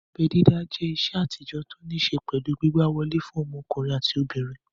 Abẹ́ dídá jẹ́ ìṣe àtijọ́ tó ní ṣé pẹ̀lú gbígbà wọlé fún ọmọkùnrin àti ọmọbìnrin